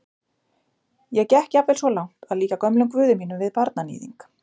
Ég gekk jafnvel svo langt að líkja gömlum guði mínum við barnaníðing.